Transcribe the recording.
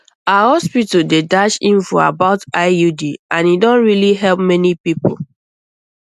our hospital dey dash info about iud and e don really help many people